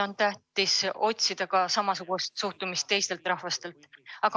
On tähtis otsida samasugust suhtumist ka teistelt rahvastelt.